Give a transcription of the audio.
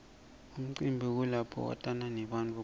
emcimbini kulapho watana nebantfu khona